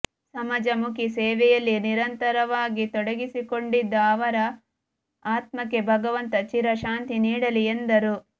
ಸಮಾಜಮುಖಿ ಸೇವೆಯಲ್ಲಿ ನಿರಂತರವಾಗಿ ತೊಡಗಿಸಿಕೊಂಡಿದ್ದ ಅವರ ಆತ್ಮಕ್ಕೆ ಭಗವಂತ ಚಿರಶಾಂತಿ ನೀಡಲಿ ಎಂದರು